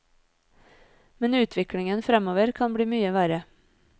Men utviklingen fremover kan bli mye verre.